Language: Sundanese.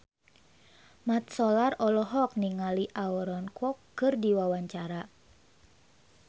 Mat Solar olohok ningali Aaron Kwok keur diwawancara